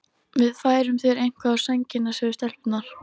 Við færum þér eitthvað á sængina, sögðu stelpurnar.